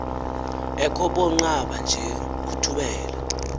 ekhobonqaba nje uthubela